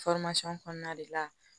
kɔnɔna de la